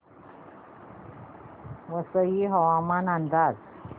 वसई हवामान अंदाज